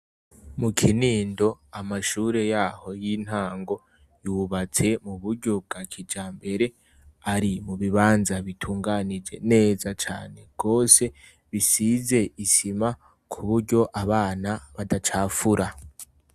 Mu kinindo amashure yaho yintango yubatse muburyo bwa kijambere ari mu bibanza bitunganije neza cane gose bisize isima kuburyo abana badacafura.